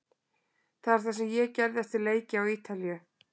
Það er það sem ég gerði eftir leiki á Ítalíu.